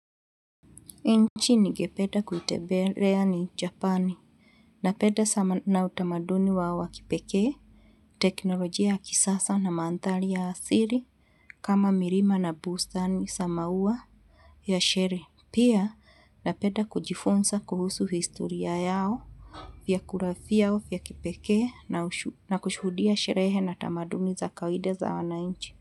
Nchi ningependa kuitembelea ni Japani napenda sana utamaduni wao wa kipekee teknolojia ya kisasa na mandhari ya asili kama milima na bustani za mauwa ya sherehe. Pia napenda kujifunza kuhusu historia yao vyakula vyao vya kipekee na na kushudia sherehe na tamaduni za kawaida za wananchi.